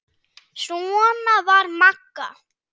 Svona var Magga.